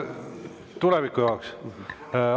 Tuleviku jaoks.